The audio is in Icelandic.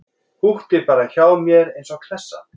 Húkti bara hjá mér eins og klessa.